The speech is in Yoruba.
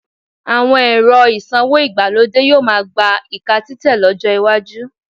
Àwọn ẹ̀rọ ìsanwó ìgbàlódé yóò máá gba ìka títẹ̀ lọ́jọ́ iwájú